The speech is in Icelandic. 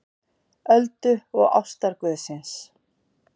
Öldu og ástarguðsins.